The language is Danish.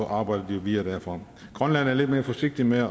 arbejdede videre derfra grønland er lidt mere forsigtig med at